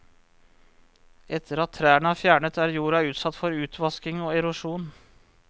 Etter at trærne er fjernet, er jorda utsatt for utvasking og erosjon.